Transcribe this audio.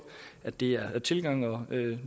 at det er tilgangen og